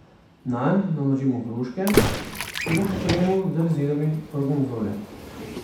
Nanj naložimo hruške, te pa pokrijemo z rezinami gorgonzole.